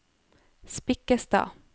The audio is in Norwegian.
Spikkestad